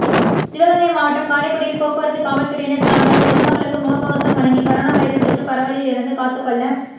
சிவகங்கை மாவட்டம் காரைக்குடியில் போக்குவரத்து காவல்துறையினர் சார்பாக பொதுமக்களுக்கு முகக்கவசம் வழங்கி கரோனா வைரஸ் தொற்று பரவலிலிருந்து காத்துக்கொள்ள